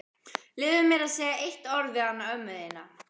Leyfðu mér að segja eitt orð við hana ömmu þína.